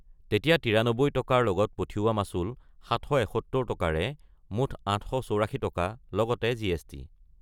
তেতিয়া ৯৩ টকাৰ লগত পঠিওৱা মাচুল ৭৭১ টকাৰে মুঠ ৮৬৪ টকা, লগতে জি এছ টি।